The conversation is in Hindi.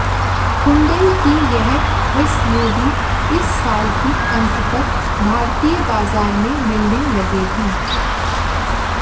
हुंडई की यह एसयूवी इस साल के अंत तक भारतीय बाजार में मिलने लगेगी